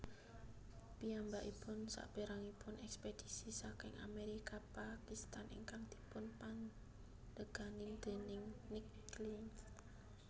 Piyambakipun saperanganipun ekspedisi saking Amerika Pakistan ingkang dipunpandegani déning Nick Clinch